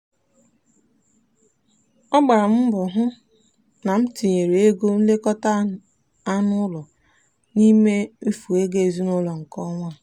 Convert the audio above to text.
a gbara m mbọ hụ na m tinyere ego nlekọta anụ ụlọ n'ime mmefu ego ezinụụlọ nke ọnwa a.